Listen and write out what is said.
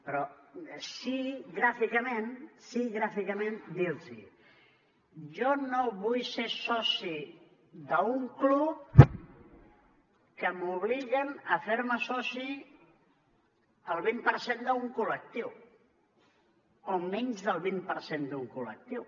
però sí gràficament sí gràficament dir los jo no vull ser soci d’un club a què m’obliguen a fer me soci el vint per cent d’un col·lectiu o menys del vint per cent d’un col·lectiu